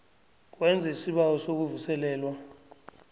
wenze isibawo sokuvuselelwa